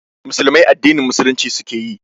Musulmai addinin Musulunci suke yi